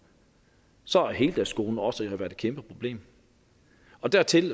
så har heldagsskolen også været et kæmpe problem og dertil